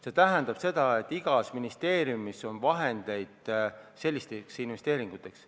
See tähendab, et igas ministeeriumis on vahendeid sellisteks investeeringuteks.